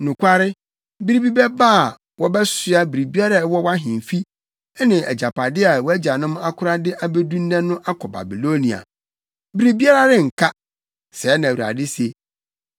Nokware, bere bi bɛba a, wɔbɛsoa biribiara a ɛwɔ wʼahemfi ne agyapade a wʼagyanom akora de abedu nnɛ no akɔ Babilonia. Biribiara renka, sɛɛ na Awurade se.